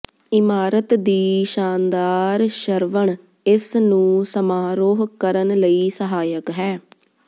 ਇਮਾਰਤ ਦੀ ਸ਼ਾਨਦਾਰ ਸ਼ਰਵਣ ਇਸ ਨੂੰ ਸਮਾਰੋਹ ਕਰਨ ਲਈ ਸਹਾਇਕ ਹੈ